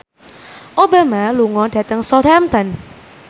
Obama lunga dhateng Southampton